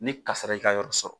Ni kasara y'i ka yɔrɔ sɔrɔ